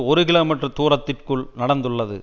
ஒரு கிலோமீட்டர் தூரத்திற்குள் நடந்துள்ளது